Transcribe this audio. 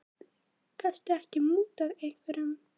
Gastu ekki mútað einhverjum?